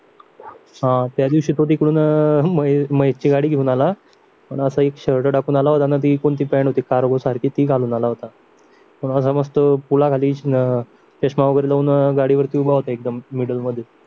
हा त्या त्यादिवशी तो तिकडून अं महेश ची गाडी घेऊन आला अन असा एक शर्ट टाकून आला होता ती कोणती पॅन्ट होती कार्गो सारखीती घालून आला होता कोणाला समजतो तुला चष्मा वगैरे लावून गाडी वरती उभा होता एकदम मिडल मध्ये